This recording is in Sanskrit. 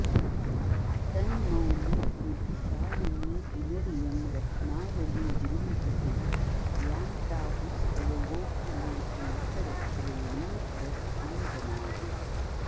तन्मौलिद्युतिशालिनी पुनरियं रत्नावली जृम्भते यां प्राहुस्तव गोकुलेश नखरश्रेणीं करस्थां जनाः